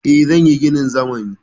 Eh, zan yi ginin zamani.